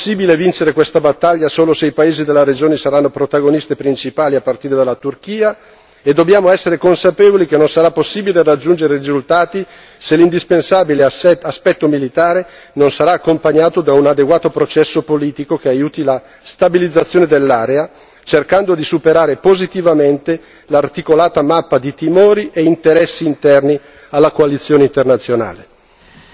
Non c'è solo l'opzione militare, sarà possibile vincere questa battaglia solo se i paesi della regione saranno protagonisti principali a partire dalla Turchia e dobbiamo essere consapevoli che non sarà possibile raggiungere risultati se l'indispensabile aspetto militare non sarà accompagnato da un adeguato processo politico che aiuti la destabilizzazione dell'area cercando di superare positivamente l'articolata mappa di timori e interessi interni alla coalizione internazionale.